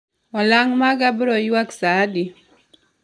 olang' maga bro ywak saa di